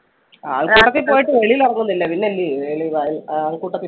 ആൾക്കൂട്ടത്തിൽ പോയിട്ട് വെളിയിൽ ഇറങ്ങുന്നില്ല പിന്നെ അല്ലെയോ ആ~ആൾക്കൂട്ടത്തിൽ